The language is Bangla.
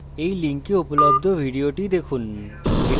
এই লিঙ্কে উপলব্ধ video দেখুন